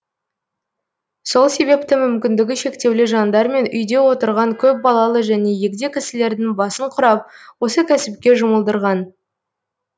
сол себепті мүмкіндігі шектеулі жандар мен үйде отырған көпбалалы және егде кісілердің басын құрап осы кәсіпке жұмылдырған